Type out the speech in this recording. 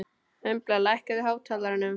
Embla, lækkaðu í hátalaranum.